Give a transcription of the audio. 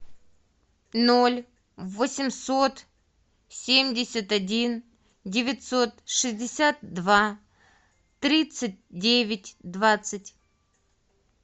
ноль восемьсот семьдесят один девятьсот шестьдесят два тридцать девять двадцать